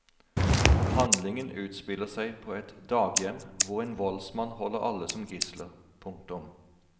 Handlingen utspiller seg på et daghjem hvor en voldsmann holder alle som gisler. punktum